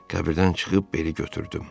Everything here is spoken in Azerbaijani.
Qəbirdən çıxıb beli götürdüm.